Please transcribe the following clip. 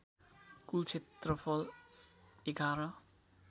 कुल क्षेत्रफल ११